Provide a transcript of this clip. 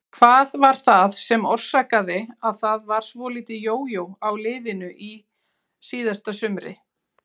Hvað var það sem orsakaði að það var svolítið jójó á liðinu á síðasta sumri?